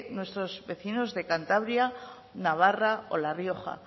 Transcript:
nuestros vecinos de cantabria navarra o la rioja